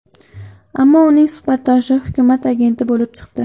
Ammo uning suhbatdoshi hukumat agenti bo‘lib chiqdi.